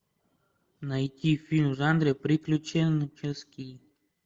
найти фильм в жанре приключенческий